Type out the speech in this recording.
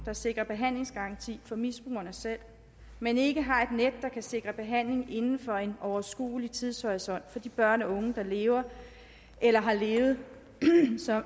der sikrer behandlingsgaranti for misbrugere selv men ikke har et net der kan sikre behandling inden for en overskuelig tidshorisont for de børn og unge der lever eller har levet